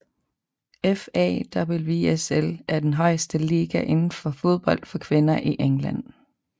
FA WSL er den højeste liga indenfor fodbold for kvinder i England